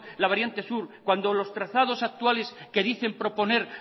la variante sur cuando los trazados actuales que dicen proponer